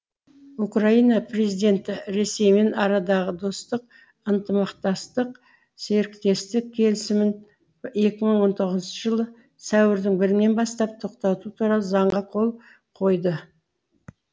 украина президенті ресеймен арадағы достық ынтымақтастық серіктестік келісімін екі мың он тоғызыншы жылы сәуірдің бірінен бастап тоқтату туралы заңға қол қойды